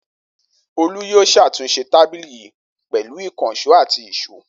Olú yìí ṣàtúnṣe tábìlì yìí pẹ̀lú ìkànṣó àti ìṣó.